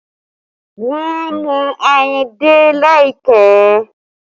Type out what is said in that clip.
Wọn a mú ayùn dé láìpẹ́